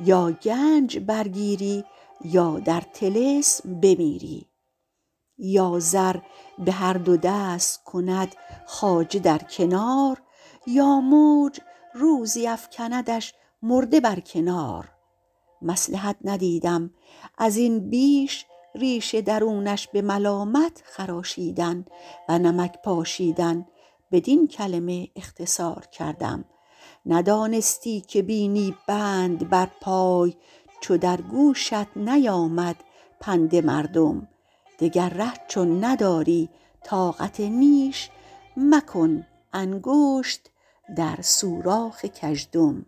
یا گنج برگیری یا در طلسم بمیری یا زر به هر دو دست کند خواجه در کنار یا موج روزی افکندش مرده بر کنار مصلحت ندیدم از این بیش ریش درونش به ملامت خراشیدن و نمک پاشیدن بدین کلمه اختصار کردیم ندانستی که بینی بند بر پای چو در گوشت نیامد پند مردم دگر ره چون نداری طاقت نیش مکن انگشت در سوراخ گژدم